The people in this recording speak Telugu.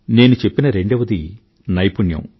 నేను చెప్పిన రెండవది నైపుణ్యం